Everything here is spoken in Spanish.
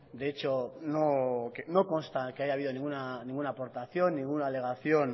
de hecho no consta que haya habido ninguna aportación ninguna alegación